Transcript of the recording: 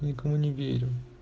никому не верю